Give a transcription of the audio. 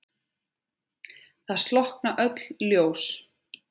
Það slokkna öll ljós.